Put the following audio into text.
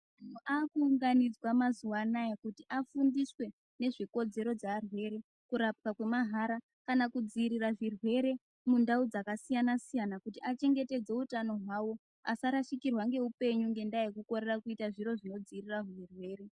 Antu akuunganidzwa mazuwanaya kuti afundiswe nezvekodzero dzearwere kurapwa kwemahara kana kudziirirwa kwezvirwere mundau dzakasiyana siyana kuti achengeredze utano hwawo asashikirwa ngeupenyu ngendaya yekukorera kuita zviro zvinodziirira hurwere.